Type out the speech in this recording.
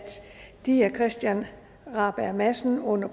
de af herre christian rabjerg madsen under